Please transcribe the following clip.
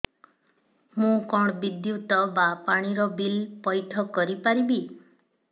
ମୁ କଣ ବିଦ୍ୟୁତ ବା ପାଣି ର ବିଲ ପଇଠ କରି ପାରିବି